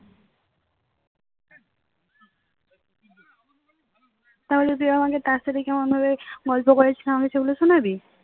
তাহলে তুই আমাকে তার সাথে কেমন ভাবে গল্প করে সেগুলো শোনাবি